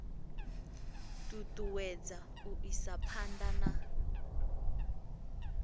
ṱuṱuwedza u isa phanḓa na